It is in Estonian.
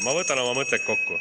Ma võtan oma mõtted kokku.